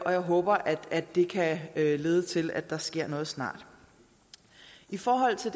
og jeg håber at det kan lede til at der sker noget snart i forhold til